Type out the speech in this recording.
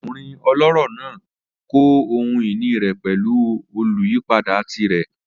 Ọkunrin ọlọrọ naa kọ ohun-ini rẹ pẹlu oluyipada tirẹ.